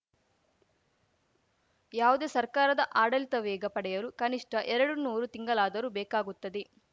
ಯಾವುದೇ ಸರ್ಕಾರದ ಆಡಳಿತ ವೇಗ ಪಡೆಯಲು ಕನಿಷ್ಠ ಎರಡುನೂರು ತಿಂಗಳಾದರೂ ಬೇಕಾಗುತ್ತದೆ